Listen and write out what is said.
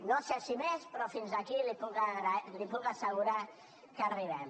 no sé si més però fins aquí li puc assegurar que arribem